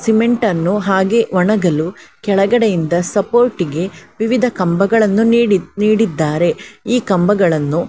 cement ಅನ್ನು ಹಾಗೆ ಒಣಗಲು ಕೆಳಗಡೆ ಇಂದ ಸಪೋರ್ಟಿಗೆ ವಿವಿಧ ಕಂಬಗಳನ್ನು ನೀಡಿ ನೀಡಿದ್ದಾರೆ ಈ ಕಂಬಗಳನ್ನು --